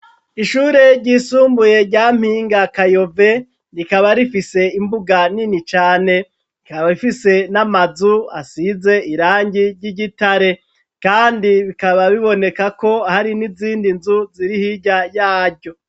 Ishure ryisumbuye rya Mpinga Kayove rikaba rifise imbuga nini cane, rikaba rifise n'amazu asize irangi ry'igitare, kandi bikaba biboneka ko hari n'izindi nzu zirihirya yaryo.